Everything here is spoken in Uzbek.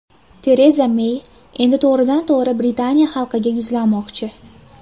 Tereza Mey endi to‘g‘ridan tog‘ri Britaniya xalqiga yuzlanmoqchi.